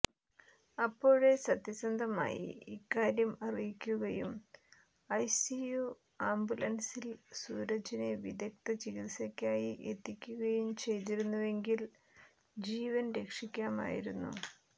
അപ്പോഴേ സത്യസന്ധമായി ഇക്കാര്യം അറിയിക്കുകയും ഐസിയു ആംബുസൻസിൽ സൂരജിനെ വിദഗ്ധ ചികിത്സയ്ക്കായി എത്തിക്കുകയും ചെയ്തിരുന്നെങ്കിൽ ജീവൻ രക്ഷിക്കാമായിരുന്നു